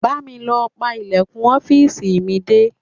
Bá mi lọ pa ìlẹ̀kùn ọ́fíìsì mi dé.